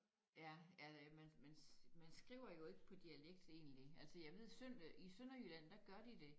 Ja ja det man man skriver jo ikke på dialekt egentlig